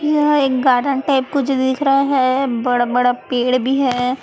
यह एक garden type कुछ दिख रहा है बड़ा बड़ा पेड़ भी है।